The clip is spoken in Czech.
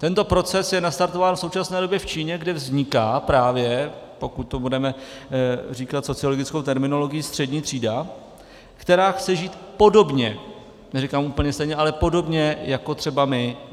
Tento proces je nastartován v současné době v Číně, kde vzniká právě, pokud to budeme říkat sociologickou terminologií, střední třída, která chce žít podobně, neříkám úplně stejně, ale podobně jako třeba my.